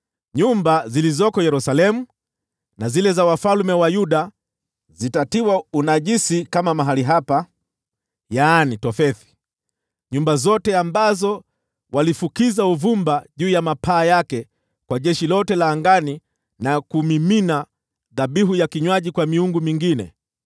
Nyumba zilizoko Yerusalemu na zile za wafalme wa Yuda zitatiwa unajisi kama mahali hapa, Tofethi: yaani nyumba zote ambazo walifukiza uvumba juu ya mapaa yake kwa jeshi lote la angani, na kumimina dhabihu za vinywaji kwa miungu mingine.’ ”